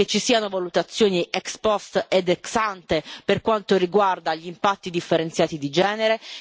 che ci siano valutazioni ex post ed ex ante per quanto riguarda gli impatti differenziati di genere